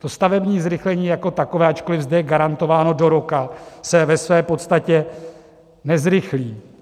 To stavební zrychlení jako takové, ačkoliv zde je garantováno do roka, se ve své podstatě nezrychlí.